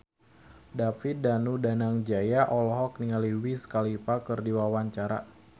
David Danu Danangjaya olohok ningali Wiz Khalifa keur diwawancara